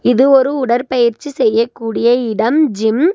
இது ஒரு உடற்பயிற்சி செய்யக்கூடிய இடம் ஜிம் .